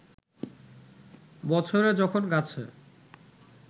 বছরে যখন গাছে